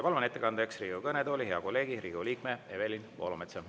Palun ettekandeks Riigikogu kõnetooli hea kolleegi, Riigikogu liikme Evelin Poolametsa.